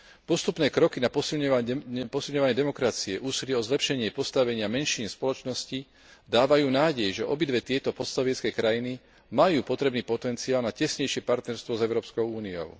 Postupné kroky na posilňovanie demokracie, úsilia o zlepšenie postavenia menšín v spoločnosti dávajú nádej, že obidve tieto postsovietske krajiny majú potrebný potenciál na tesnejšie partnerstvo s Európskou úniou.